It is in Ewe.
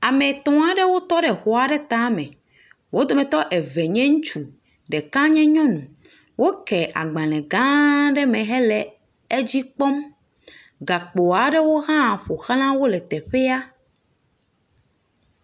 Ame tɔ̃ aɖewo tɔ ɖe xɔ aɖe ta me. Wo dometɔ eve nye ŋutsu. Ɖeka nye nyɔnu. Woke agbale gã aɖea me hele edzi kpɔm. Gakpo aɖewo hã ƒoxla wo le teƒea.